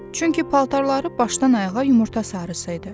Çünki paltarları başdan ayağa yumurta sarısı idi.